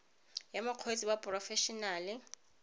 ya mokgweetsi wa porofe enale